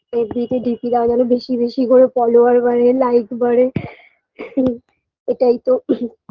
fb -তে DP দেওয়ালে বেশি বেশি করে follower বাড়ে like বাড়ে এটাই তো